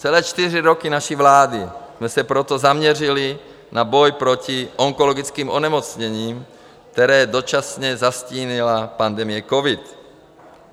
Celé čtyři roky naší vlády jsme se proto zaměřili na boj proti onkologickým onemocněním, která dočasně zastínila pandemie covidu.